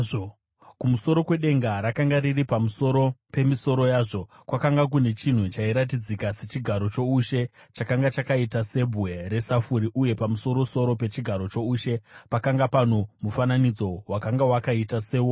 Kumusoro kwedenga rakanga riri pamusoro pemisoro yazvo, kwakanga kune chinhu chairatidzika sechigaro choushe chakanga chakaita sebwe resafuri uye pamusoro-soro pechigaro choushe pakanga pano mufananidzo wakanga wakaita sewomunhu.